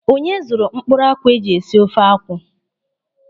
Onye zụrụ mkpụrụ akwụ eji esi ofe akwụ?